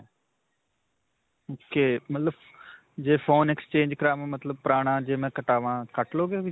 ok. ਮਤਲਬ ਜੇ phone exchange ਕਰਾਵਾਂ, ਮਤਲਬ ਪੁਰਾਣਾ ਜੇ ਮੈਂ ਕਟਾਵਾਂ ਕੱਟ ਲਵੋਗੇ ਵਿੱਚ?